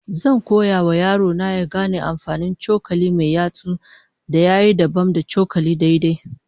Zan koya wa yaro na ya gane amfanin cokali mai yatsu ya yi dabam da cokalin daidai